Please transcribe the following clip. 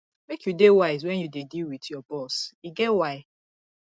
make you dey wise wen you dey deal wit your boss e get why